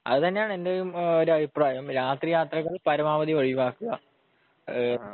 അതന്നേണ് എന്റെയും ഒരു അഭിപ്രായം രാത്രി യാത്രകൾ പരമാവധി ഒഴിവാക്കുക ഈഹ്